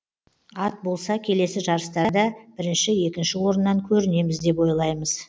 ат болса келесі жарыстарда бірінші екінші орыннан көрінеміз деп ойлаймыз